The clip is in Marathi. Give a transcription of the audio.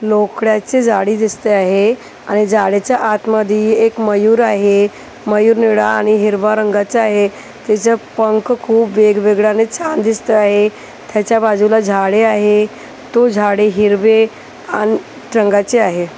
लोकड्याची जाडी दिसते आहे आणि जाळीच्या आतमध्ये एक मयूर आहे मयूर निळ्या आणि हिरव्या रंगाचा आहे त्याचं पंख खूप वेगवेगळं आणि छान दिसतो आहे त्याच्या बाजूला झाडे आहे तो झाडे हिरवे अन आहे.